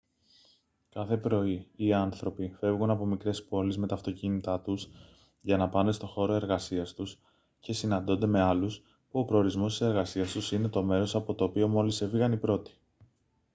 κάθε πρωί οι άνθρωποι φεύγουν από μικρές πόλεις με τα αυτοκίνητά τους για να πάνε στο χώρο εργασίας τους και συναντώνται με άλλους που ο προορισμός της εργασίας τους είναι το μέρος από το οποίο μόλις έφυγαν οι πρώτοι